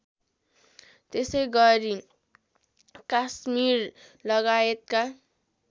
त्यसैगरी कास्मिरलगायतका